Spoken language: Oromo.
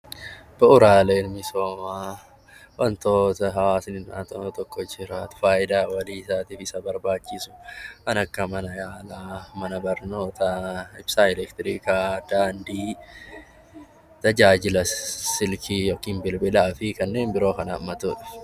Bu'uuraaleen misoomaa wantoota hawaasa naannoo tokko isa barbaachisu kan akka nyaataa, ibsaa elektiriikaa, daandii, bilbilaa fi kanneen biroo kan hammatudha.